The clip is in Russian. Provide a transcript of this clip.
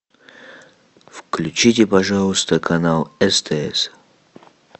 включите пожалуйста канал стс